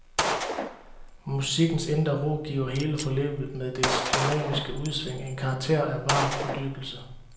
Musikkens indre ro giver hele forløbet med dets dynamiske udsving en karakter af varm fordybelse.